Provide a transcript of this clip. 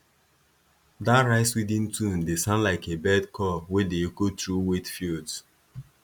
dat riceweeding tune dey sound like a bird call wey dey echo through wet fields